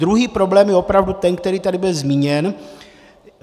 Druhý problém je opravdu ten, který tady byl zmíněn.